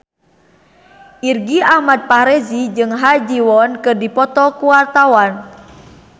Irgi Ahmad Fahrezi jeung Ha Ji Won keur dipoto ku wartawan